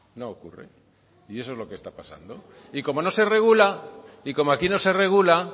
no ocurre y eso es lo que está pasando y como no se regula y como aquí no se regula